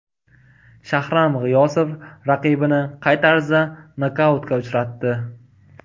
Shahram G‘iyosov raqibini qay tarzda nokautga uchratdi?